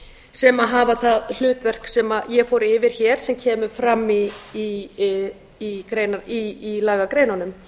sem hafa það hlutverk sem ég fór yfir hér sem kemur fram í lagagreinunum